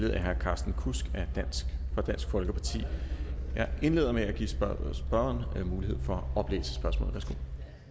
af herre carsten kudsk fra dansk folkeparti jeg indleder med at give spørgeren mulighed for at oplæse spørgsmålet